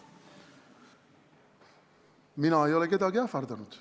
Mina ei ole kedagi ähvardanud.